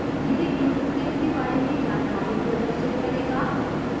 यह inkscape के बारे में जानकारी प्रदर्शित करेगा